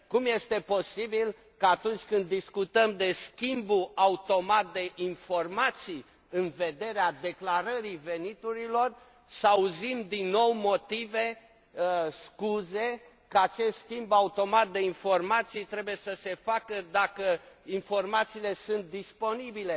Cum este posibil ca, atunci când discutăm de schimbul automat de informații în vederea declarării veniturilor, să auzim din nou motive, scuze că acest schimb automat de informații trebuie să se facă dacă informațiile sunt disponibile?